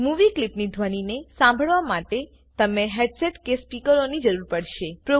movie ક્લીપની ધ્વનીને સાંભળવા માટે તમને હેડસેટ કે સ્પીકરોની જરૂર પડશે